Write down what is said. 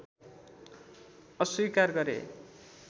अस्वीकार गरे